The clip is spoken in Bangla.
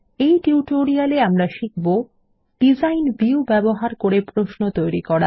এই টিউটোরিয়ালে আমরা শিখব ডিজাইন ভিউ ব্যবহার করে প্রশ্ন তৈরি করা